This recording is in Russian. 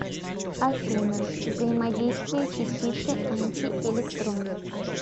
афина взаимодействие частицы антиэлектрон